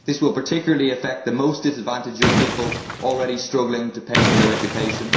This will particularly affect the most disadvantaged young people already struggling to pay for their education.